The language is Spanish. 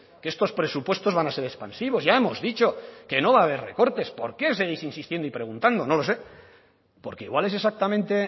que estos presupuestos van a ser expansivos ya hemos dicho que no va a haber recortes por qué seguís insistiendo y preguntando no lo sé porque igual es exactamente